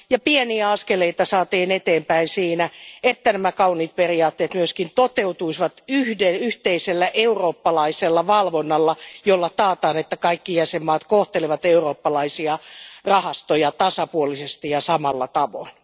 Pieniä askeleita päästiin eteenpäin siinä, että nämä kauniit periaatteet myös toteutuisivat yhteisellä eurooppalaisella valvonnalla, jolla taataan, että kaikki jäsenmaat kohtelevat eurooppalaisia rahastoja tasapuolisesti ja samalla tavalla.